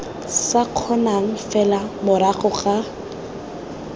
sa kgonang fela morago ga